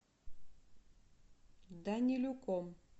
данилюком